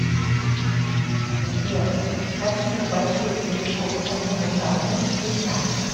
сбер какие большой телескоп азимутальный ты знаешь